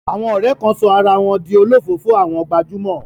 Àwọn ọ̀rẹ́ kan sọ ara wọn di olofoofo àwọn gbajúmọ̀.